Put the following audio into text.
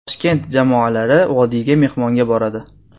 Toshkent jamoalari Vodiyga mehmonga boradi.